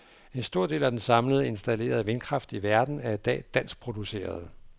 En stor af den samlede installerede vindkraft i verden er i dag dansk produceret.